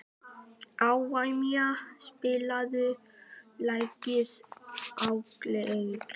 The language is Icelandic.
Evfemía, spilaðu lagið „Ábyggilega“.